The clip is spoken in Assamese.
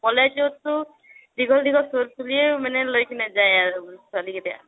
কলেজটো দীঘল দীঘল চুলিয়ে মানে লৈ কেনে যায় আৰু ছোৱালী কেইটা